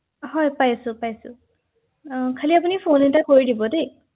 হয় হয় আৰু বেলেগ তথ্য